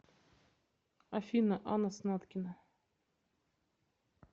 афина анна снаткина